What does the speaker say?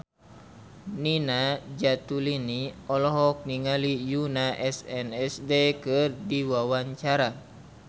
Nina Zatulini olohok ningali Yoona SNSD keur diwawancara